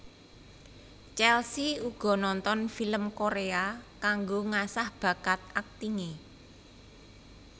Chelsea uga nonton film Korea kanggo ngasah bakat aktinge